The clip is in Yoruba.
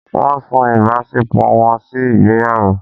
Wọ́n sún ìbáṣepọ̀ wọn sí ìgbéyàwó.